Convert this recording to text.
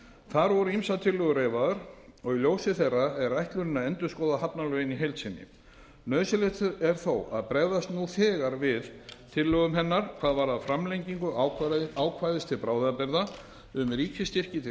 þar voru ýmsar tillögur reifaðar og ljósi þeirra er ætlunin að endurskoða hafnalögin í heild sinni nauðsynlegt er þó að bregðast nú þegar við tillögum hennar hvað varðar framlengingu ákvæðis til bráðabirgða um ríkisstyrki til